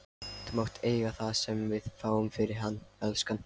Þú mátt eiga það sem við fáum fyrir hann, elskan.